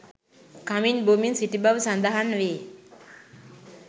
කමින් බොමින් සිටි බව සඳහන් වේ